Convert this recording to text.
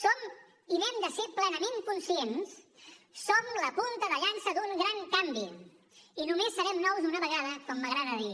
som i n’hem de ser plenament conscients la punta de llança d’un gran canvi i només serem nous una vegada com m’agrada dir